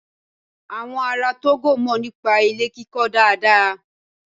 Àwọn ará Tógò mọ̀ nípa ilé kíkọ dáadáa.